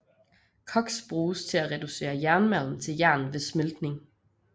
Koks bruges til at reducere jernmalm til jern ved smeltning